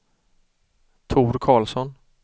Tor Carlsson